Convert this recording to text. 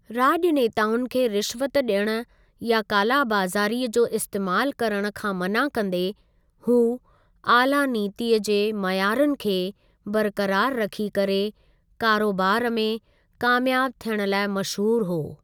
राॼनेताउनि खे रिश्वत ॾियण या काला बाज़ारीअ जो इस्तेमालु करण खां मना कंदे, हू आला नीतिअ जे मयारुनि खे बरक़रार रखी करे कारोबारु में कामयाब थियण लाइ मश़हूर हो।